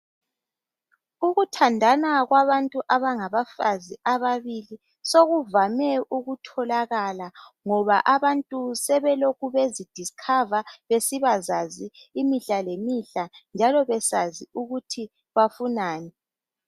Ukuthandana kwabantu abangabafazi ababili sokuvame ukutholakala, ngoba abantu sebelokhu bezidiskhava besibazazi imihla lemihla, njalo besazi ukuthi bafunani.